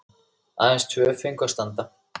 Aðeins tvö fengu að standa.